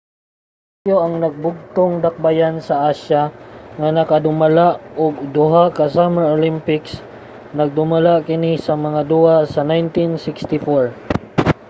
ang tokyo ang nagbinugtong dakbayan sa asya nga makadumala og duha ka summer olympics nagdumala kini sa mga duwa sa 1964